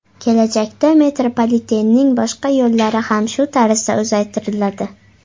Kelajakda metropolitenning boshqa yo‘llari ham shu tarzda uzaytiriladi.